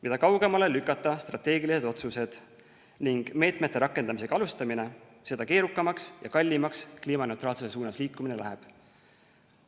Mida kaugemale lükata strateegilised otsused ning meetmete rakendamisega alustamine, seda keerukamaks ja kallimaks kliimaneutraalsuse suunas liikumine läheb.